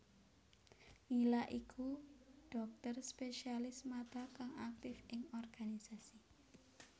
Nila iku dhokter Spesialis Mata kang aktif ing organisasi